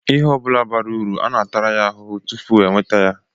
Ihe ọbụla bara uru a na-atara ya ahụhụ tupu e nweta ya.